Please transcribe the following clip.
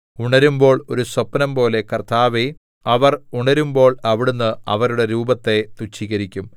ഉണരുമ്പോൾ ഒരു സ്വപ്നംപോലെ കർത്താവേ അവർ ഉണരുമ്പോൾ അവിടുന്ന് അവരുടെ രൂപത്തെ തുച്ഛീകരിക്കും